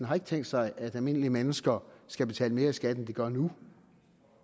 har tænkt sig at almindelige mennesker skal betale mere i skat end de gør nu